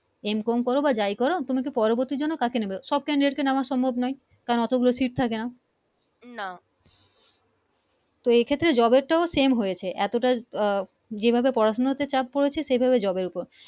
M com করো আর যা করো তোমাকে পরবর্তী জন্য তাকে নিবে সব Candidate কে নেওয়ার সম্ভব নয় তা অতোগুলো Seat থাকে না না তো এই ক্ষেত্রে Job টাও Same হয়েছে এতোটা আহ যে ভাবে পড়া শোনা তে চাপ পরেছে সে ভাবে Job এর উপর